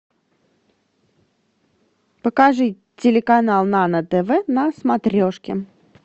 покажи телеканал нано тв на смотрешке